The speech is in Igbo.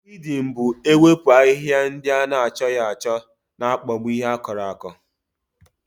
Wiidịn bụ ewepu ahịhịa ndị ana achọghị achọ na-akpagbu ihe akùrù aku